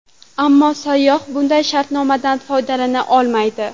Ammo sayyoh bunday shartnomadan foydalana olmaydi.